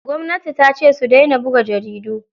Gwamnati tace su daina buga jaridu.